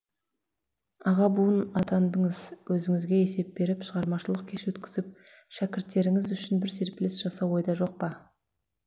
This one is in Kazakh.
аға буын атандыңыз өзіңізге есеп беріп шығармашылық кеш өткізіп шәкірттеріңіз үшін бір серпіліс жасау ойда жоқ па